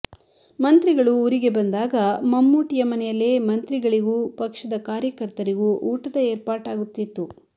ಮಂತ್ರಿಗಳು ಊರಿಗೆ ಬಂದಾಗ ಮಮ್ಮೂಟಿಯ ಮನೆಯಲ್ಲೇ ಮಂತ್ರಿಗಳಿಗೂ ಪಕ್ಷದ ಕಾರ್ಯಕರ್ತರಿಗೂ ಊಟದ ಏರ್ಪಾಟಾಗುತ್ತಿತ್ತು